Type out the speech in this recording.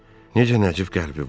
Necə nəcib qəlbi var!